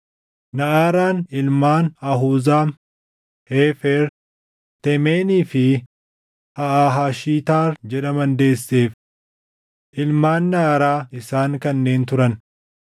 Naʼaraan ilmaan Ahuzaam, Heefer, Teemenii fi Haaʼahashitaar jedhaman deesseef. Ilmaan Naʼaraa isaan kanneen turan.